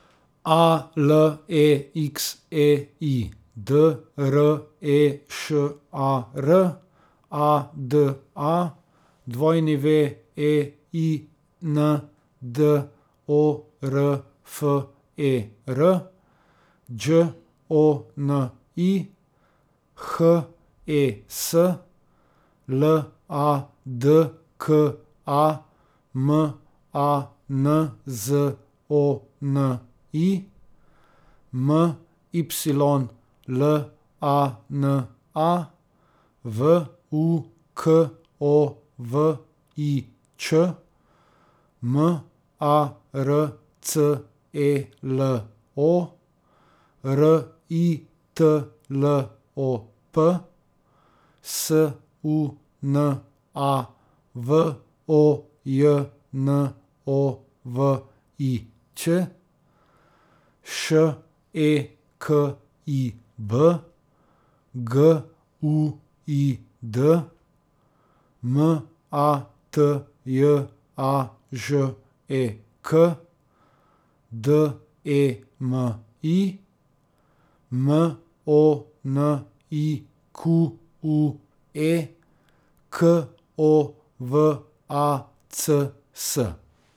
A L E X E I, D R E Š A R; A D A, W E I N D O R F E R; Đ O N I, H E S; L A D K A, M A N Z O N I; M Y L A N A, V U K O V I Č; M A R C E L O, R I T L O P; S U N A, V O J N O V I Ć; Š E K I B, G U I D; M A T J A Ž E K, D E M I; M O N I Q U E, K O V A C S.